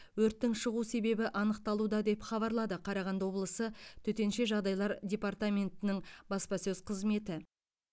өрттің шығу себебі анықталуда деп хабарлады қарағанды облысы төтенше жағдайлар департаментінің баспасөз қызметі